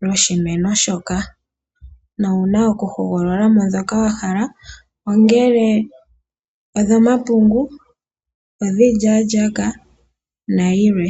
lwoshimeno shoka nowu na okuhogolola mo ndhoka wa hala, ongele odhomapungu, odhiilyaalyaaka nadhilwe.